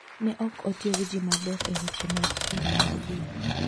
Ne ok otieg ji maber e weche mag pur mar gwen.